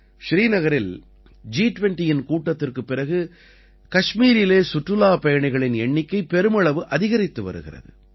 ஸ்ரீநகரில் ஜி20யின் கூட்டத்திற்குப் பிறகு கஷ்மீரிலே சுற்றுலாப் பயணிகளின் எண்ணிக்கை பெருமளவு அதிகரித்து வருகிறது